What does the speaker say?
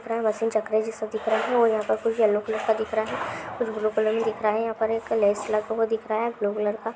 चकरा जैसा दिख रहा है और यहाँ पे कुछ येलो कलर का दिख रहा है कुछ ब्लू कलर मे दिख रहा है यहाँ पर एक लैस लगा हुआ दिख रहा है ब्लू कलर का।